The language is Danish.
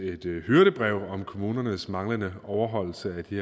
hyrdebrev om kommunernes manglende overholdelse af de